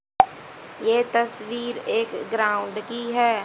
ये तस्वीर एक ग्राउंड की है।